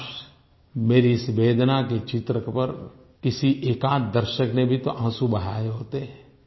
काश मेरी इस वेदना के चित्र पर किसी एकाध दर्शक ने भी तो आंसू बहाए होते